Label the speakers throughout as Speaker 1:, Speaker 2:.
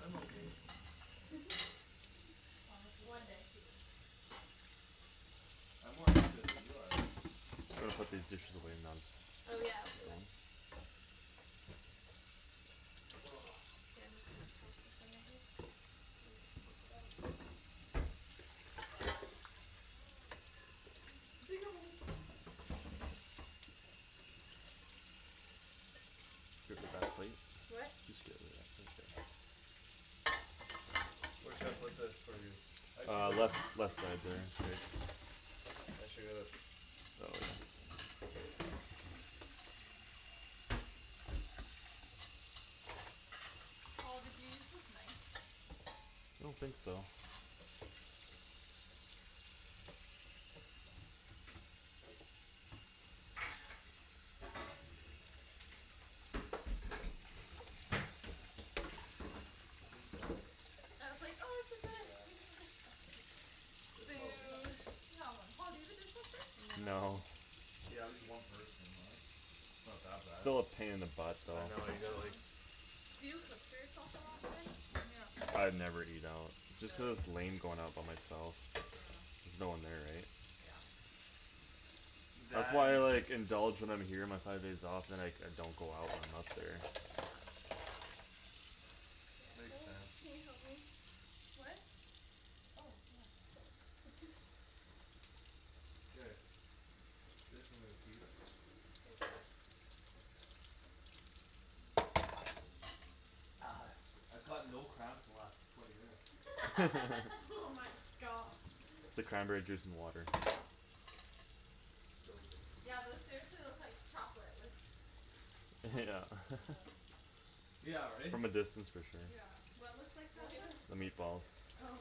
Speaker 1: I'm okay.
Speaker 2: Thomas is
Speaker 3: One
Speaker 2: really
Speaker 3: day.
Speaker 2: cute when he dances.
Speaker 1: I'm more into it than you are.
Speaker 4: I'm gonna
Speaker 2: That's
Speaker 4: put
Speaker 2: not
Speaker 4: these dishes
Speaker 2: true.
Speaker 4: away and then just
Speaker 3: Oh, yeah, I'll do that. And, like, take it out.
Speaker 4: Get rid of that plate.
Speaker 3: What?
Speaker 4: Just get rid of that plate there.
Speaker 1: Where should I put this for you? I should
Speaker 4: Uh
Speaker 1: get
Speaker 4: left,
Speaker 1: a
Speaker 4: left side there. K.
Speaker 1: I should get a
Speaker 2: Paul, did you use this knife?
Speaker 4: I don't think so.
Speaker 2: Okay.
Speaker 1: Are you done?
Speaker 2: I was like, "Oh, we should put our
Speaker 1: Yeah.
Speaker 2: thing in the dishwasher."
Speaker 1: They're probably
Speaker 2: Boo.
Speaker 3: Boo.
Speaker 2: Come on. Paul, do you have a dishwasher?
Speaker 4: No.
Speaker 3: No.
Speaker 1: Yeah, just one person though, right? Not that bad.
Speaker 4: Still a pain in the butt though.
Speaker 1: I know, you gotta, like
Speaker 3: Yeah.
Speaker 2: Do you cook for yourself a lot then? When you're up there?
Speaker 4: I never eat out. Just cuz it's
Speaker 2: Really?
Speaker 4: lame going out by myself.
Speaker 2: Yeah.
Speaker 4: There's no one there, eh?
Speaker 2: Yeah.
Speaker 4: That's
Speaker 1: That
Speaker 4: why
Speaker 1: and
Speaker 4: I, like, indulge when I'm here my five days off and, like, I don't go out when I'm up there.
Speaker 2: Yeah.
Speaker 3: Yeah,
Speaker 1: Makes
Speaker 3: oh,
Speaker 1: sense.
Speaker 3: can you help me?
Speaker 2: What? Oh, yeah.
Speaker 3: Thanks.
Speaker 1: Okay. This I'm gonna keep.
Speaker 3: Take four.
Speaker 1: I've got no cramps the last twenty minutes.
Speaker 3: Oh my gosh.
Speaker 4: The cranberry juice and water.
Speaker 1: So good.
Speaker 2: Yeah, those seriously look like chocolate with White
Speaker 4: Yeah.
Speaker 2: chocolate
Speaker 1: Yeah, right?
Speaker 4: From a distance for sure.
Speaker 2: Yeah.
Speaker 3: What looks like
Speaker 2: Well,
Speaker 3: chocolate?
Speaker 2: even it
Speaker 4: The
Speaker 2: cooks like
Speaker 4: meatballs.
Speaker 2: you.
Speaker 3: Oh.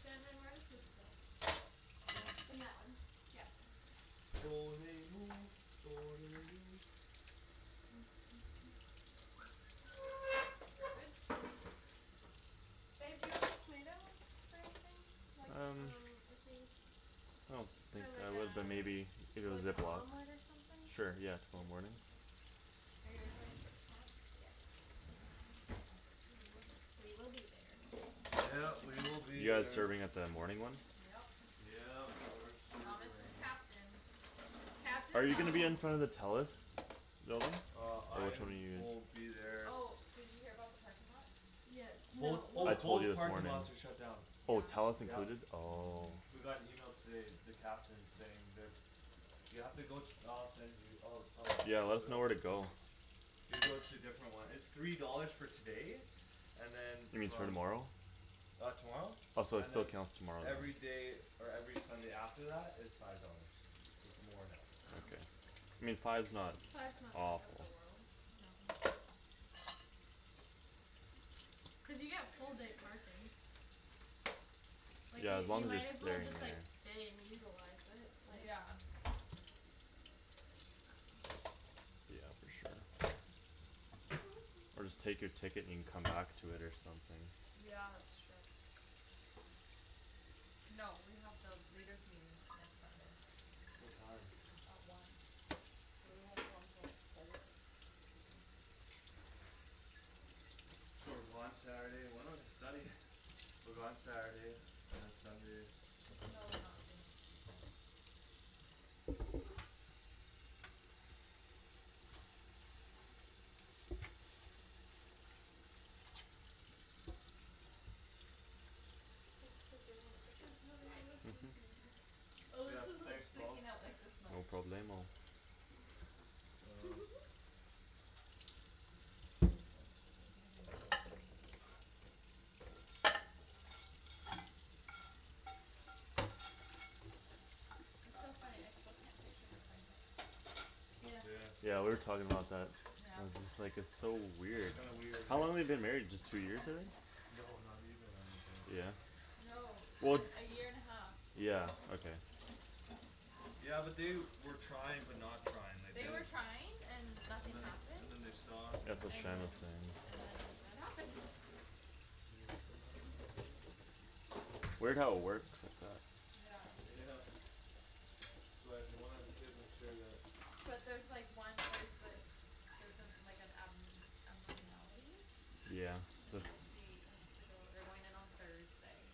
Speaker 2: Shandryn, where does this go?
Speaker 3: In that one, yeah.
Speaker 2: Garbage?
Speaker 3: Babe, do you want these tomatoes for anything? Like,
Speaker 4: Um.
Speaker 3: um if we
Speaker 4: I don't think
Speaker 3: For like
Speaker 4: I
Speaker 3: a,
Speaker 4: would but maybe if
Speaker 3: for
Speaker 4: it was
Speaker 3: like an
Speaker 4: Ziploc.
Speaker 3: omelet or something?
Speaker 4: Sure, yeah,
Speaker 3: Yeah? Okay.
Speaker 4: tomorrow morning?
Speaker 2: Are you guys going to church tomorrow?
Speaker 3: Yes.
Speaker 2: Us too.
Speaker 3: We will be there.
Speaker 1: Yep, we will be
Speaker 4: You guys
Speaker 1: there.
Speaker 4: serving at the morning one?
Speaker 2: Yep.
Speaker 1: Yep, we're
Speaker 2: Thomas is
Speaker 1: serving.
Speaker 2: captain.
Speaker 3: Captain
Speaker 4: Are you gonna be
Speaker 3: Thomas
Speaker 4: in front of the Telus building?
Speaker 1: Uh
Speaker 4: Or which
Speaker 1: I
Speaker 4: one are you
Speaker 1: will
Speaker 4: in?
Speaker 1: be there s-
Speaker 2: Oh, did you hear about the parking lots?
Speaker 3: Yeah,
Speaker 1: Both,
Speaker 3: no,
Speaker 1: oh,
Speaker 4: I
Speaker 3: well
Speaker 4: told you
Speaker 1: both
Speaker 4: this
Speaker 1: parking
Speaker 4: morning.
Speaker 1: lots are shut down.
Speaker 4: Oh,
Speaker 2: Yeah.
Speaker 4: Telus
Speaker 1: Yep.
Speaker 4: included? Oh.
Speaker 2: Mhm.
Speaker 1: We got an email today, the captain saying they're You have to go, I'll send you. I'll, I'll
Speaker 4: Yeah, let
Speaker 1: look it
Speaker 4: us know
Speaker 1: up
Speaker 4: where
Speaker 1: for
Speaker 4: to
Speaker 1: you.
Speaker 4: go.
Speaker 1: You go to a different one. It's three dollars for today. And then
Speaker 4: You mean
Speaker 1: from
Speaker 4: tomorrow?
Speaker 1: Uh tomorrow?
Speaker 4: Oh, so it,
Speaker 1: And
Speaker 4: so it
Speaker 1: then
Speaker 4: counts tomorrow.
Speaker 1: Everyday or every Sunday after that is Five dollars. So it's more now.
Speaker 3: Oh.
Speaker 4: Okay. I mean, five's not
Speaker 3: Five's not the end of the
Speaker 4: awful.
Speaker 3: world.
Speaker 2: No.
Speaker 3: Cuz you get full day parking. Like
Speaker 4: Yeah,
Speaker 3: you,
Speaker 4: as long
Speaker 3: you
Speaker 4: as you're
Speaker 3: might as well
Speaker 4: staying
Speaker 3: just, like,
Speaker 4: there.
Speaker 3: stay and utilize it, like
Speaker 2: Yeah.
Speaker 4: Yeah, for sure. Or just take your ticket and you can come back to it or something.
Speaker 2: Yeah, it's true. No, we have the leaders' meeting, uh, next Sunday.
Speaker 1: What time?
Speaker 2: At one. So we won't be home till like four.
Speaker 1: So we're gone Saturday and when are we studying? We're gone Saturday, and then Sunday.
Speaker 2: No, we're not free next weekend.
Speaker 3: Thanks for doing all the
Speaker 2: I
Speaker 3: dishes.
Speaker 2: feel like I have a food
Speaker 4: Mhm.
Speaker 2: baby. Oh,
Speaker 1: Yeah,
Speaker 2: this is, like,
Speaker 1: thanks, Paul.
Speaker 2: sticking out, like, this
Speaker 4: No
Speaker 2: much.
Speaker 4: problemo.
Speaker 1: Uh Want a cigarette?
Speaker 2: I could be like that now. It's so funny, I still can't picture her pregnant.
Speaker 3: Yeah.
Speaker 1: Yeah.
Speaker 4: Yeah, we were talking about that.
Speaker 2: Yeah.
Speaker 4: And just, like, it's so weird.
Speaker 1: Kinda weird,
Speaker 4: How
Speaker 1: eh?
Speaker 4: long they been married just two years, I think?
Speaker 1: No, not even, I don't think.
Speaker 4: Yeah?
Speaker 2: No.
Speaker 4: Well,
Speaker 2: The, a year and a half.
Speaker 4: yeah, okay.
Speaker 1: Yeah, but they were trying but not trying. Like
Speaker 2: They
Speaker 1: they're
Speaker 2: were trying and
Speaker 1: And
Speaker 2: nothing
Speaker 1: then,
Speaker 2: happened.
Speaker 1: and then they stopped and then
Speaker 4: That's what
Speaker 2: And
Speaker 4: Shannon
Speaker 2: then,
Speaker 4: said, yeah.
Speaker 2: and then it happened.
Speaker 1: Can you open that right
Speaker 2: Mhm.
Speaker 1: there?
Speaker 4: Weird how it works like that.
Speaker 2: Yeah.
Speaker 1: Yeah. So uh if you wanna have a kid make sure that
Speaker 2: But there's like one, like, the Theres some, like an ab- abnormality
Speaker 4: Yeah.
Speaker 2: And so she has to go, they're going in on Thursday.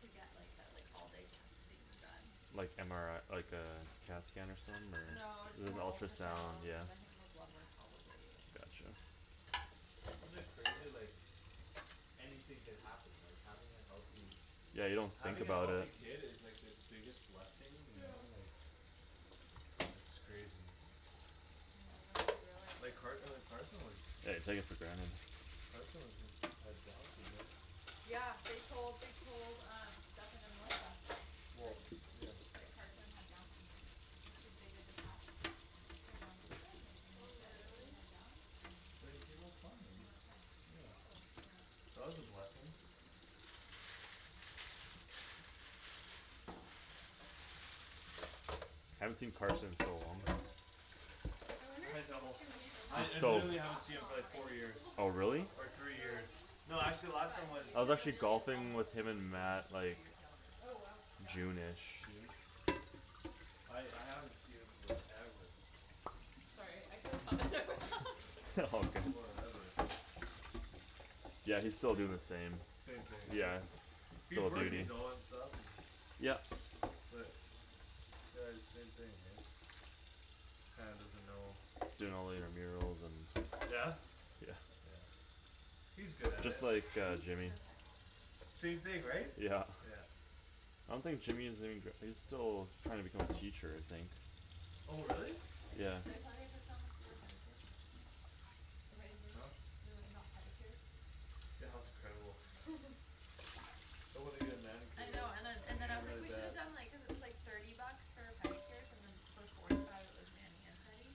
Speaker 2: To get, like, uh like, all day testing done.
Speaker 4: Like MRI, like uh, CAT scan or something
Speaker 2: No, just more
Speaker 4: or ultrasound,
Speaker 2: ultrasounds
Speaker 4: yeah.
Speaker 2: and I think more blood work probably and
Speaker 4: Gotcha.
Speaker 1: Isn't it crazy like Anything could happen, like, having a healthy
Speaker 4: Yeah, you don't think
Speaker 1: Having a
Speaker 4: about
Speaker 1: healthy
Speaker 4: it.
Speaker 1: kid is like the biggest blessing, you
Speaker 2: Yeah.
Speaker 1: know? Like It's crazy.
Speaker 2: You know, you don't really realize
Speaker 1: Like
Speaker 2: it
Speaker 1: Car- uh
Speaker 2: until
Speaker 1: Carson was
Speaker 4: Yeah, you take it for granted.
Speaker 1: Carson was had Downs Syndrome
Speaker 2: Yeah, they told, they told um Stephen and Melissa.
Speaker 1: Well,
Speaker 2: That,
Speaker 1: yeah.
Speaker 2: that Carson had Downs syndrome. So she, they did the test For Downs syndrome and they, and they
Speaker 3: Oh,
Speaker 2: said that he
Speaker 3: really?
Speaker 2: had Downs and
Speaker 1: But he came out
Speaker 2: he
Speaker 1: fine.
Speaker 2: came out fine.
Speaker 1: Yeah.
Speaker 3: Oh.
Speaker 2: Yeah.
Speaker 1: That was a blessing.
Speaker 4: I haven't seen Carson in so long.
Speaker 3: I wonder if
Speaker 1: I
Speaker 3: he's gonna
Speaker 1: know.
Speaker 2: He's
Speaker 1: I,
Speaker 2: tal-
Speaker 4: He's
Speaker 3: come
Speaker 1: it,
Speaker 4: so
Speaker 2: he's
Speaker 1: literally haven't seen
Speaker 2: talking
Speaker 1: him
Speaker 2: a
Speaker 1: for
Speaker 2: lot more.
Speaker 1: like
Speaker 2: I
Speaker 1: four
Speaker 2: think he's a
Speaker 1: years.
Speaker 2: little bit
Speaker 4: Oh, really?
Speaker 1: Or
Speaker 2: slower on
Speaker 1: three
Speaker 2: the
Speaker 1: years.
Speaker 2: talking
Speaker 3: Oh.
Speaker 1: No, actually last time
Speaker 2: But he,
Speaker 1: was
Speaker 4: I was
Speaker 2: cuz
Speaker 4: actually
Speaker 2: Amelia's
Speaker 4: golfing
Speaker 2: almost
Speaker 4: with
Speaker 2: up to
Speaker 4: him and
Speaker 2: speed with him and
Speaker 4: Matt,
Speaker 2: she's
Speaker 4: like
Speaker 2: two years younger.
Speaker 3: Oh, wow.
Speaker 2: Yeah.
Speaker 4: June ish.
Speaker 1: June? I, I haven't seen him forever.
Speaker 2: Sorry, I could've
Speaker 4: All good.
Speaker 1: Forever.
Speaker 4: Yeah, he's still doin' the same.
Speaker 1: Same thing, right?
Speaker 4: Yeah,
Speaker 1: He's
Speaker 4: still
Speaker 1: working
Speaker 4: duty.
Speaker 1: though and stuff and
Speaker 4: Yep.
Speaker 1: But Uh same thing, right? Kinda doesn't know
Speaker 4: Doing all the intramurals and
Speaker 1: Yeah?
Speaker 4: Yeah.
Speaker 2: No
Speaker 1: He's good at
Speaker 4: Just
Speaker 1: it.
Speaker 4: like uh
Speaker 2: text?
Speaker 3: Hmm?
Speaker 4: Jimmy.
Speaker 2: No text?
Speaker 1: Same thing, right?
Speaker 4: Yeah.
Speaker 1: Yeah.
Speaker 4: I don't think Jimmy is even gra- he's still trying to become a teacher, I think.
Speaker 1: Oh, really?
Speaker 2: I
Speaker 4: Yeah.
Speaker 2: took, did I tell you I took Thomas to get a pedicure?
Speaker 3: Amazing.
Speaker 1: Huh?
Speaker 2: We went and got pedicures?
Speaker 1: Yeah, that was incredible. I wanna get a manicure
Speaker 2: I
Speaker 1: though.
Speaker 2: know, and then,
Speaker 1: I
Speaker 2: and then
Speaker 1: need
Speaker 2: I
Speaker 1: it
Speaker 2: was like,
Speaker 1: really
Speaker 2: we shoulda
Speaker 1: bad.
Speaker 2: done, like, cuz it was, like Thirty bucks for pedicures and then For forty five it was mani and pedi.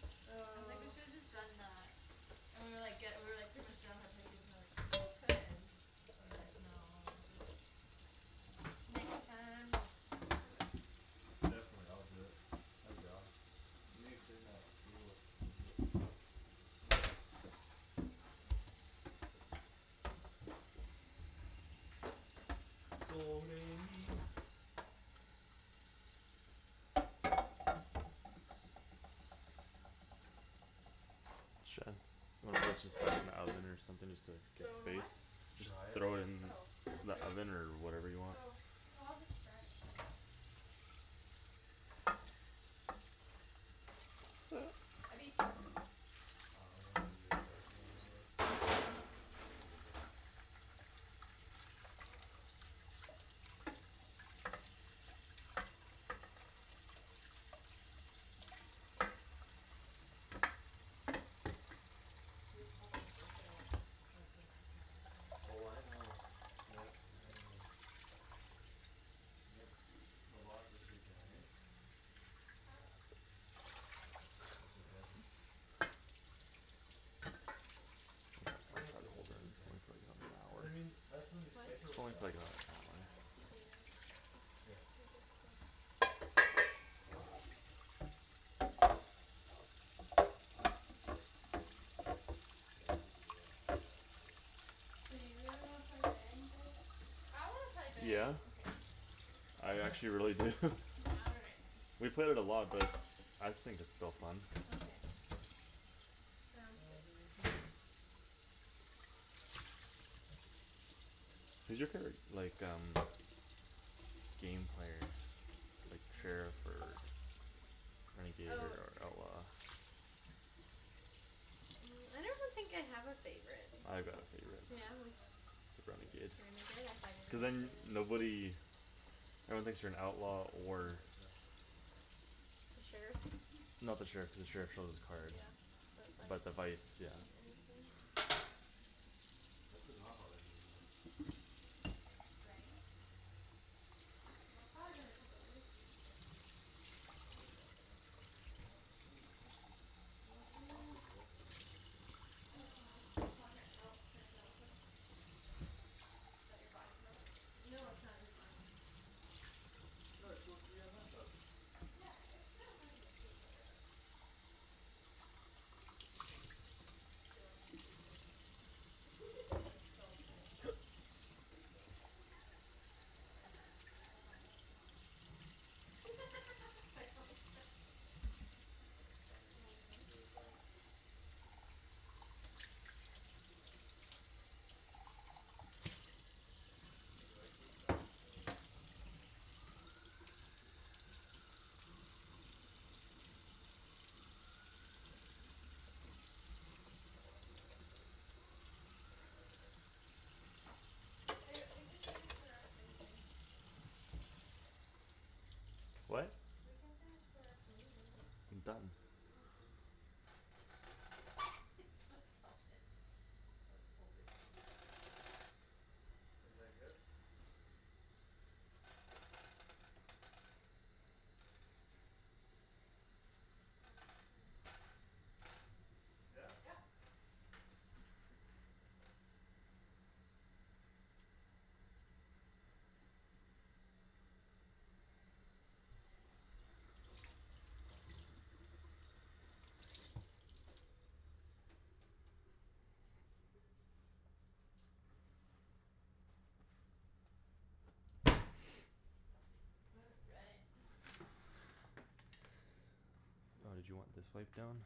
Speaker 2: I was like, "We
Speaker 3: Oh.
Speaker 2: should've just done uh" And we were, like, ge- we were, like, pretty much done with our pedicures and like We still could, but we were, like, "No, just next time."
Speaker 3: Next
Speaker 2: Next
Speaker 3: time.
Speaker 2: time I'll do it.
Speaker 1: Definitely, I'll do it. I'm down. We need to clean that table a little bit.
Speaker 2: Mhm.
Speaker 4: Shan, wanna just, just put this in the oven or something just to
Speaker 3: Do
Speaker 4: get
Speaker 3: I wanna what?
Speaker 4: space?
Speaker 2: It's
Speaker 4: Just
Speaker 1: Dry it?
Speaker 4: throw it
Speaker 2: not mine.
Speaker 4: in
Speaker 2: Oh.
Speaker 4: the oven or whatever you want?
Speaker 3: Oh. Oh, I'll just dry it.
Speaker 2: I beat you.
Speaker 1: Oh, that's a good place right in there.
Speaker 2: We have Papa's birthday lunch, or dinner tomorrow too.
Speaker 1: Oh, I know. Yep, I know. Yep, a lot this weekend, hey?
Speaker 2: Yeah, this weekend's packed.
Speaker 1: That's okay.
Speaker 4: Might
Speaker 1: It's pretty
Speaker 4: try
Speaker 1: much
Speaker 4: to
Speaker 1: like
Speaker 4: hold her
Speaker 1: every
Speaker 4: in
Speaker 1: weekend.
Speaker 4: for like another
Speaker 1: Cuz I
Speaker 4: half an hour.
Speaker 1: mean, that's when you
Speaker 3: What?
Speaker 1: schedule stuff. Right? And
Speaker 2: Yeah.
Speaker 3: Yeah.
Speaker 1: Here.
Speaker 3: I guess so.
Speaker 1: K, I'll do the uh, the rest here.
Speaker 3: Do you really wanna play Bang, babe?
Speaker 2: I wanna play
Speaker 4: Yeah.
Speaker 2: Bang.
Speaker 3: Okay.
Speaker 4: I actually really do.
Speaker 3: All right.
Speaker 4: We've played it a lot but it's, I think it's still fun.
Speaker 3: Okay, sounds good.
Speaker 4: Who's your favorite, like um Game player? Like
Speaker 2: Need to get
Speaker 4: sheriff
Speaker 2: my hair
Speaker 4: or
Speaker 2: cut. I need to text Melissa.
Speaker 4: Renegade
Speaker 3: Oh.
Speaker 4: or
Speaker 1: Sure.
Speaker 4: outlaw?
Speaker 3: I don't think I have a favorite.
Speaker 4: I got a favorite.
Speaker 3: Yeah? Like
Speaker 2: Are you okay?
Speaker 1: Yeah?
Speaker 4: Renegade.
Speaker 3: Renegade? I thought you
Speaker 4: Cuz
Speaker 3: were
Speaker 4: then
Speaker 3: gonna say that.
Speaker 4: nobody No one thinks you're an outlaw
Speaker 1: For
Speaker 4: or
Speaker 1: an exam.
Speaker 3: The sheriff?
Speaker 4: No, the sheriff, the sheriff shows his card.
Speaker 3: Yeah,
Speaker 4: But
Speaker 3: the
Speaker 4: the
Speaker 3: vice.
Speaker 4: vice, yeah.
Speaker 3: Oh, anything.
Speaker 1: I forgot how that game works.
Speaker 2: Bang?
Speaker 3: Well, it's probably been a couple years since you guys
Speaker 1: I can't remember the last time. Oh, monkey. You wanna
Speaker 3: I'm
Speaker 1: sit, I'll
Speaker 3: gonna
Speaker 1: sit there.
Speaker 3: K, Paul, here. Oh, can I steal
Speaker 2: Oh,
Speaker 3: this one?
Speaker 2: yeah. Is that your body pillow?
Speaker 3: No, it's not even mine.
Speaker 2: Oh.
Speaker 1: No, just go three on my couch.
Speaker 3: Yeah, it's kinda funny if you can see each other though.
Speaker 2: Like, I feel like I could be pregnant right now. I'm so full.
Speaker 1: Please don't.
Speaker 2: Don't worry, we'll find out tomorrow. I hope, sorry, here, hey.
Speaker 1: That's funny.
Speaker 3: Oh my
Speaker 1: It's really funny.
Speaker 3: gosh.
Speaker 1: You like, you're starting to
Speaker 3: Ba- we can finish the rest later.
Speaker 4: What?
Speaker 3: We can finish the rest later.
Speaker 4: I'm done.
Speaker 3: Okay.
Speaker 2: He's still going. That's totally Thomas.
Speaker 1: Is like this?
Speaker 2: Scared me. Yeah, since
Speaker 1: Yeah?
Speaker 2: Yep.
Speaker 3: All right.
Speaker 4: Oh, did you want this wiped down?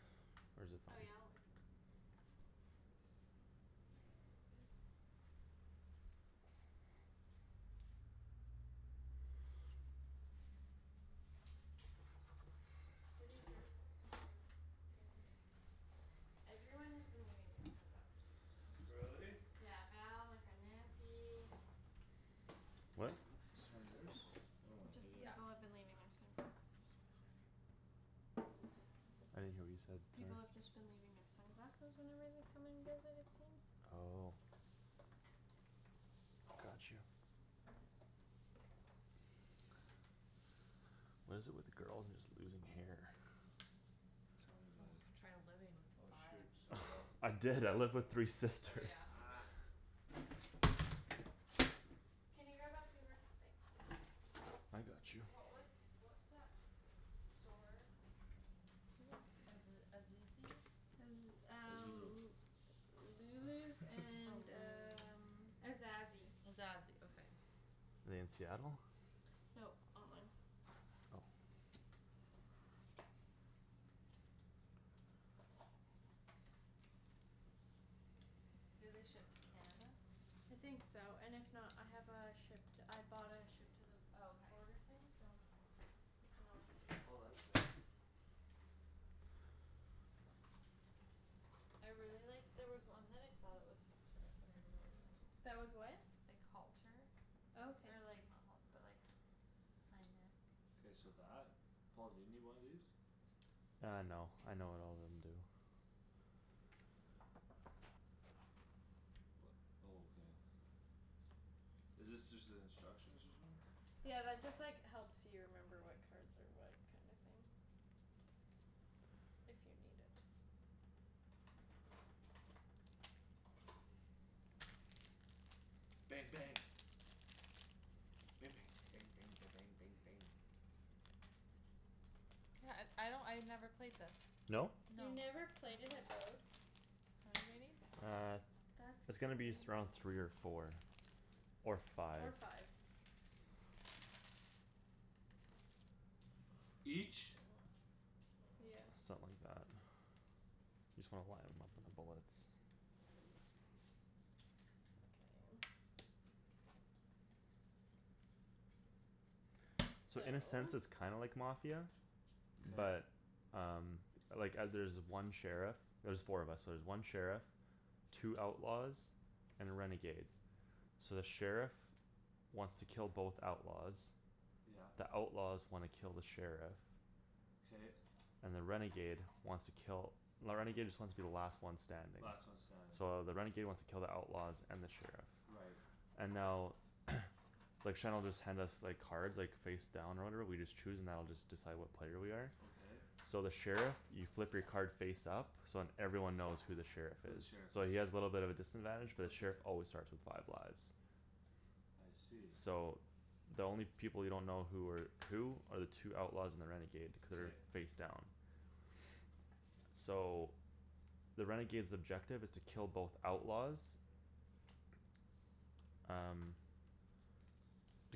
Speaker 4: Or is it fine?
Speaker 3: Oh yeah, like that. Bring it Are these yours?
Speaker 2: Mhm.
Speaker 3: Theirs? Everyone has been leaving their sunglasses here, so.
Speaker 1: Really?
Speaker 2: Really?
Speaker 3: Yeah. Val, my friend Nancy
Speaker 4: What?
Speaker 1: Is this one yours? Oh, I
Speaker 3: Just,
Speaker 1: hate it.
Speaker 2: Yeah.
Speaker 3: people have been leaving their sunglasses.
Speaker 2: I'm just about done here.
Speaker 4: I didn't hear what you said,
Speaker 3: People
Speaker 4: sorry.
Speaker 3: have just been leaving their sunglasses whenever they're coming to visit, it seems.
Speaker 4: Oh. Got you. What is it with girls and just losing hair?
Speaker 1: Tell me about
Speaker 2: Oh,
Speaker 1: it.
Speaker 2: try living with
Speaker 1: Oh,
Speaker 2: five.
Speaker 1: shoot, stole that.
Speaker 4: I
Speaker 3: Oh, is
Speaker 4: did, I lived with
Speaker 3: it?
Speaker 4: three
Speaker 2: Oh,
Speaker 4: sisters.
Speaker 2: yeah.
Speaker 3: Can you grab that paper- thanks, babe.
Speaker 4: I got you.
Speaker 2: What was, what's that store? Aze- Azizi?
Speaker 3: Cuz um Lulu's
Speaker 2: Oh,
Speaker 3: and
Speaker 2: Lulu's.
Speaker 3: um Azazi.
Speaker 2: Azazi, okay.
Speaker 4: In Seattle?
Speaker 3: Nope, online.
Speaker 2: Do they ship to Canada?
Speaker 3: I think so, and if not, I have a ship to, I bought a ship to the
Speaker 2: Oh, okay.
Speaker 3: border thing so You
Speaker 2: I
Speaker 3: can
Speaker 2: want
Speaker 3: always
Speaker 2: us
Speaker 3: do
Speaker 2: to
Speaker 3: that
Speaker 2: do
Speaker 1: Oh, that's
Speaker 2: it too.
Speaker 3: too.
Speaker 1: nice.
Speaker 2: I really liked, there was one that I saw that was halter that I really liked.
Speaker 3: That was what?
Speaker 2: Like halter.
Speaker 3: Oh, okay.
Speaker 2: Or like, not halt- but like Kinda
Speaker 1: K, so that? Paul, do you need one of these?
Speaker 4: Uh, no, I know what all of them do.
Speaker 1: Oh, okay. Is this just the instructions or something?
Speaker 3: Yeah, that just, like, helps you remember what cards are what kinda thing. If you need it.
Speaker 1: Bang, bang. Ba- bang. Bang bang ba- bang bang bang.
Speaker 2: Yeah, uh I don't, I never played this.
Speaker 4: No?
Speaker 2: No.
Speaker 3: You
Speaker 2: Mm- mm
Speaker 3: never played it at
Speaker 2: What, baby?
Speaker 4: Uh,
Speaker 3: That's
Speaker 4: it's gonna be
Speaker 3: crazy.
Speaker 4: th- around three or four. Or five.
Speaker 3: Or five.
Speaker 1: Each?
Speaker 3: Yeah.
Speaker 4: Something like that. Just wanna why I'm looking for bullets.
Speaker 3: Okay.
Speaker 4: So
Speaker 3: So
Speaker 4: in a sense it's kinda like Mafia.
Speaker 1: K.
Speaker 4: But um Like uh there's one sheriff. There's four of us so there's one sheriff Two outlaws And a renegade. So the sheriff Wants to kill both outlaws.
Speaker 1: Yep.
Speaker 4: The outlaws wanna kill the sheriff.
Speaker 1: K.
Speaker 4: And the renegade wants to kill, the renegade just wants to be the last one standing.
Speaker 1: Last one standing.
Speaker 4: So the renegade wants to kill the outlaws and the sheriff.
Speaker 1: Right.
Speaker 4: And now Like Shan'll just hand us, like, cards, like, face down or whatever, we just choose and that'll just decide what player we are.
Speaker 1: Okay.
Speaker 4: So the sheriff, you flip your card face up So then everyone knows who the sheriff
Speaker 1: Who the
Speaker 4: is.
Speaker 1: sheriff
Speaker 4: So
Speaker 1: is.
Speaker 4: he has little bit of a disadvantage but the
Speaker 1: Okay.
Speaker 4: sheriff always starts with five lives.
Speaker 1: I see.
Speaker 4: So the only people you don't know who are Who are the two outlaws and the renegade. Cuz
Speaker 1: K.
Speaker 4: they're face down. So the renegade's objective is to kill both outlaws Um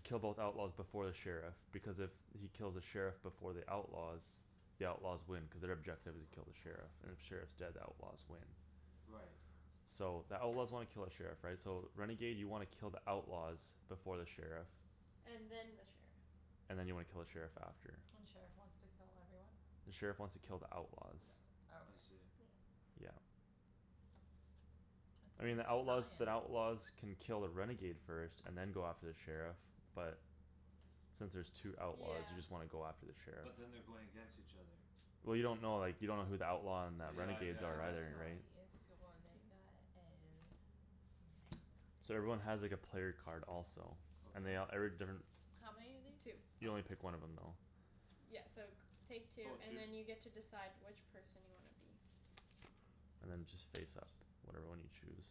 Speaker 4: Kill both outlaws before the sheriff, because if he kills the sheriff before the outlaws The outlaws win cuz their objective is kill the sheriff. And if sheriff's dead, the outlaws win.
Speaker 1: Right.
Speaker 4: So the outlaws wanna kill the sheriff, right? So renegade you wanna kill the outlaws. Before the sheriff
Speaker 3: And then the sheriff.
Speaker 4: And then you wanna kill the sheriff after.
Speaker 2: And the sheriff wants to kill everyone?
Speaker 4: The sheriff wants to kill the outlaws.
Speaker 1: I
Speaker 2: Okay.
Speaker 1: see.
Speaker 4: Yeah.
Speaker 2: It's
Speaker 4: I mean,
Speaker 2: in
Speaker 4: the outlaws,
Speaker 2: Italian.
Speaker 4: the outlaws Can kill a renegade first and then go after the sheriff but Since there's two outlaws
Speaker 3: Yeah.
Speaker 4: you just wanna go after the sheriff.
Speaker 1: But then they're going against each other.
Speaker 4: Well, you don't know, like, you don't know who the outlaw and the
Speaker 1: Yeah, I gue-
Speaker 4: renegades
Speaker 1: I
Speaker 4: are
Speaker 1: guess
Speaker 4: either,
Speaker 1: not.
Speaker 4: right?
Speaker 3: Two.
Speaker 4: So everyone has, like, a player card also. And
Speaker 1: Okay.
Speaker 4: they all, every different
Speaker 2: How many of these?
Speaker 3: Two.
Speaker 4: You only pick one of them though.
Speaker 3: Yeah, so g- take two
Speaker 1: Oh,
Speaker 3: and
Speaker 1: two.
Speaker 3: then you decide which person you wanna be.
Speaker 4: And then just face up whatever one you choose.